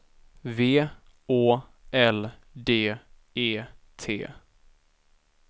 V Å L D E T